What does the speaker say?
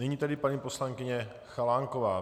Nyní tedy paní poslankyně Chalánková.